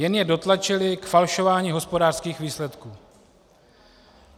Jen je dotlačily k falšování hospodářských výsledků.